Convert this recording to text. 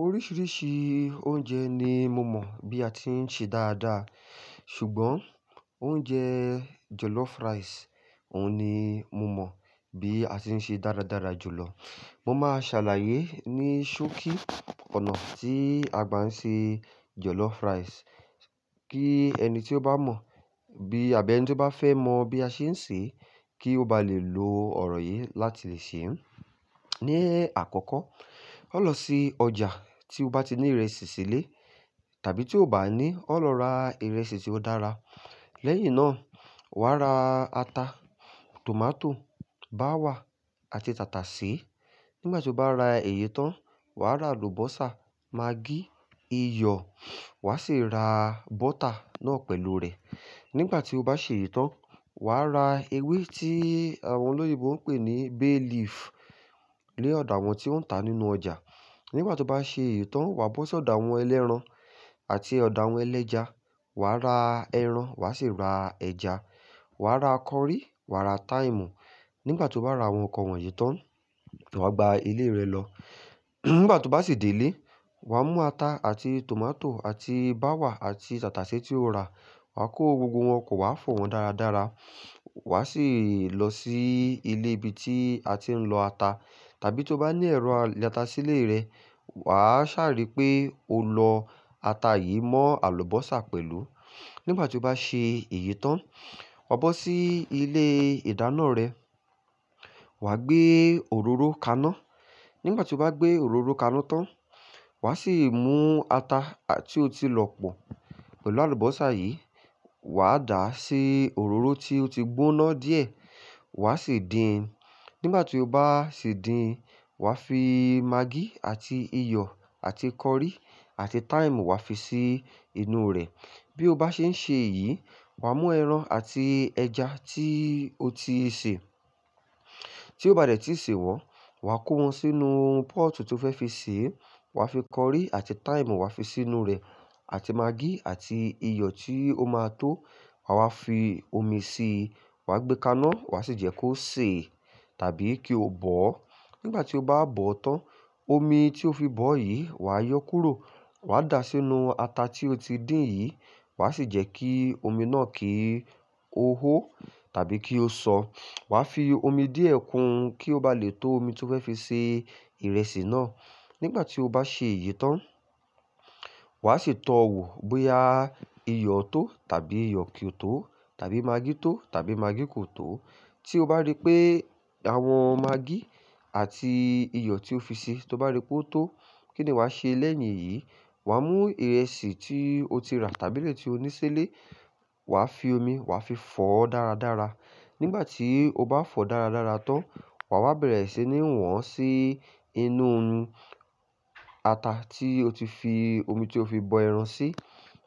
Oríṣìíríṣìí oúnjẹ ni mo mọ̀ bí a ti ń ṣe dáadáa. Ṣùgbọ́n oúnjẹ jollof rice, òun ni mo mọ̀ bí a ti ń ṣe dáradára jùlọ. Mo máa ṣàlàyé ní ṣókí ọ̀nà tí a gba ń ṣe jollof rice kí ẹni tí ó bá mọ̀, àbí ẹni tí ó bá fẹ́ mọ bí a ṣe ń ṣe, kí ó ba lè lo ọ̀rọ̀ yìí láti lè sè é. Ní àkọ́kọ́, ó lọ sí ọjà tí o bá ti ní ìrẹsì sílé tàbí tí o bá ní, ó lọ ra ìrẹsì tí ó dára. Lẹ́yìn náà, wà á ra ata, tòmátò, bawa àti tàtàsé. Nígbà tí o bá ra èyí tán, wà á ra àlùbọ́sà, magí, iyọ̀ wà á sì ra bọ́tà náà pẹ̀lú rẹ̀. Nígbà tí o bá ṣe èyí tán, wà á ra ewé tí àwọn olóyinbo ń pè ní bay leaf ni ọ̀do àwọn tí won ń tà nínú ọjà. Nígbà tí o bá ṣe èyí tán, wà bọ́ sí ọ̀do àwọn ẹlẹ́ran àti ọ̀do àwọn ẹlẹ́ja, wà á ra ẹran, wà á sì ra ẹja. Wà á ra curry, wà á ra thyme. Nígbà tí o bá ra àwọn nǹkan wọ̀nyí tán, wà gba ilé rẹ lọ. Nígbà tí o bá sì dé ilé, wà mú ata àti tòmátò àti bawa àti tàtàsé tí o ra, wà kó gbogbo wọn pọ́ wà fọ̀ wọ́n dáradára. Wà á sì lọ sí ilé ibi tí a ti ń lọ ata tàbí tí o bá ní ẹ̀rọ ilotá sílé rẹ, wà á ṣàrí pé o lọ ata yìí mọ́ àlùbọ́sà pẹ̀lú. Nígbà tí o bá ṣe èyí tán, wà bọ́ sí ilé ìdáná rẹ, wà gbé òróró kaná. Nígbà tí o bá gbé òróró kaná tán, wà á sì mú ata tí o ti lọ̀ pọ̀ pẹ̀lú àlùbọ́sà yìí, wà á dà á sí òróró tí o ti gbóná díẹ̀, wà á sì dín. Nígbà tí o bá sì dín, wà á fi magí àti iyọ̀ àti curry àti thyme wà á fi sí inú rẹ̀. Bí o bá ṣe ń ṣe èyí, wà mú ẹran àti ẹja tí o ti sè. Tí ó bá dẹ̀ tí ì ṣe wọ́n, wà kó wọn sínú pọ́ọ̀tù tí o fẹ́ fi sè é, wà á fi curry àti thyme wà á fi sínú rẹ̀ àti magí àti iyọ̀ tí ó máa tó, wà wá fi omi síi, wà á gbé kaná wà á sì jẹ́ kó sè tàbí kí ó bọ̀. Nígbà tí ó bá bọ̀ tán, omi tí o fi bọ̀ yìí wà á yọ kúrò, wà á dà á sínú ata tí o ti dín yìí, wà á sì jẹ́ kí omi náà kí ó hó tàbí kí ó sọ. Wà á fi omi díẹ̀ kun kí ó ba lè tó omi tí o fẹ́ fi ṣe ìrẹsì náà. Nígbà tí o bá ṣe èyí tán, wà á sì tọ wò bóyá iyọ̀ tó tàbí iyọ̀ kì í tó tàbí magí tó tàbí magí kò tó. Tí o bá rí pé àwọn magí àti iyọ̀ tí o fi ṣi, tí o bá rí pé ó tó, kí ni wà ṣe lẹ́yìn yìí? Wà mú ìrẹsì tí o ti rà tàbí ilé tí o ní sílé, wà á fi omi, wà á fi fọ̀ ọ́ dáradára. Nígbà tí o bá fọ̀ ọ́ dáradára tán, wà wá bẹ̀rẹ̀ sí ní wọ́n sí inú ata tí o ti fi omi tí o fi bọ ẹran sí,